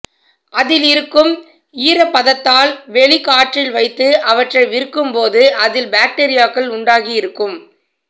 அதிலிருக்கும் ஈரப்பதத்தால் வெளிக் காற்றில் வைத்து அவற்றை விற்கும்போது அதில் பாக்டீரியாக்கள் உண்டாகி இருக்கும்